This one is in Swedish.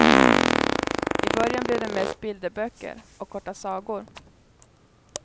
I början blev det mest bilderböcker och korta sagor.